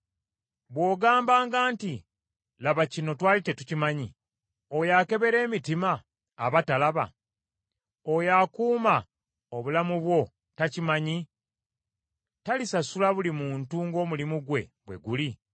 Bw’ogambanga nti, “Laba kino twali tetukimanyi,” oyo akebera emitima aba talaba? Oyo akuuma obulamu bwo takimanyi? Talisasula buli muntu ng’omulimu gwe bwe guli?